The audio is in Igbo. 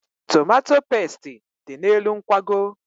Tomato pestị dị n'elu nkwago.